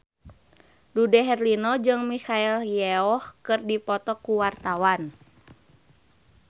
Dude Herlino jeung Michelle Yeoh keur dipoto ku wartawan